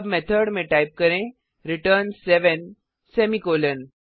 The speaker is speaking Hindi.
अब मेथड में टाइप करें रिटर्न सेवेन सेमीकॉलन